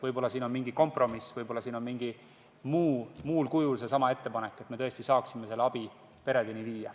Võib-olla on võimalik mingi kompromiss, võib-olla on võimalik see ettepanek mingil muul kujul ellu viia, et me tõesti saaksime selle abi peredeni viia.